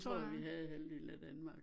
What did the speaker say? Tror jeg vi havde i halvdelen af Danmark